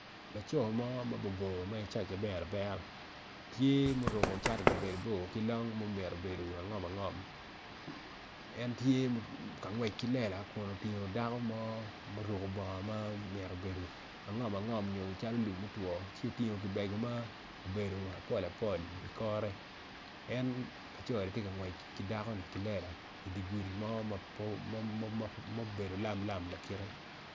Laco mo mabor bor ma isaic aber abera tye ma oruko cati ma labade bor ki long ma omito bedo alum alum en tye ka ngwec ki lela kun otingo dako mo ma oruko bongo mo omito bedo angom angom nyo calo lum motwo ci oting gibego mo apol apol ikore en laconi tye ngwec ki dakoni kilela idigudi mo ma obedo lam lam lakite